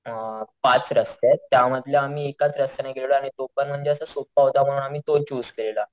अ पाच रस्तेत त्यामधल्या आम्ही एकाच रस्त्यांनी गेलेलो आणि तो पण म्हणजे असं सोप्पा होता म्हणून आम्ही तो चूज केलेला.